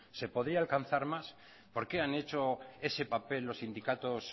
se podría alcanzar más por qué han hecho ese papel los sindicatos